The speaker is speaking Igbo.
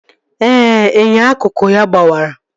Ee, inyo akụkụ ya gbawara